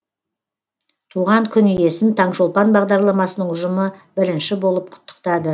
туған күн иесін таңшолпан бағдарламасының ұжымы бірінші болып құттықтады